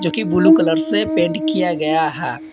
Blue colour से paint किया गया है।